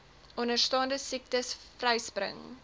onderstaande siektes vryspring